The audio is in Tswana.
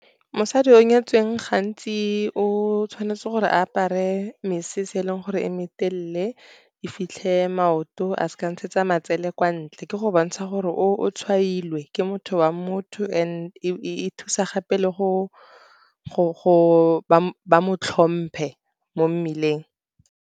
Mosadi yo o nyetsweng, gantsi, o tshwanetse gore a apare mesese e e leng gore e me telele e e fitlhang maoto, a seka a ntshetsa matsele kwa ntle. Ke go bontsha gore o tshwailwe ke motho wa, and e thusa gape le go mo tlhompe mo mmeleng.